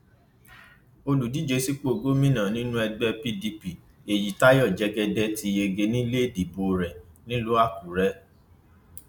olùdíje sípò gómìnà nínú ẹgbẹ pdp èyítayọ jẹgẹdẹ ti yege ní ilé ìdìbò rẹ nílùú àkúrẹ